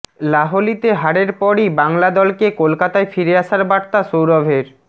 লাহলিতে হারের পরই বাংলা দলকে কলকাতায় ফিরে আসার বার্তা সৌরভের